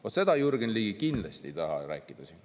Vot seda Jürgen Ligi kindlasti ei taha rääkida siin.